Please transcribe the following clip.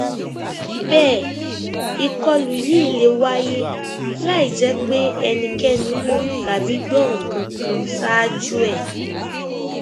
bẹẹ ìkọlù yìí lè wáyé láì jẹ pé ẹnikẹni mọ tàbí gbọ nǹkan kan ṣáájú ẹ